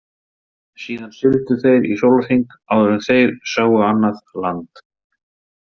Síðan sigldu þeir í sólahring áður en þeir sáu annað land.